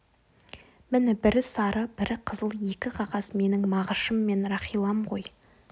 міні бірі сары бірі қызыл екі қағаз менің мағышым мен рахилам ғой